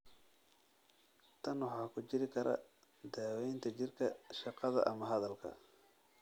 Tan waxaa ku jiri kara daawaynta jirka, shaqada, ama hadalka.